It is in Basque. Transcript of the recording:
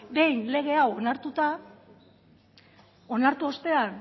behin lege hau onartuta onartu ostean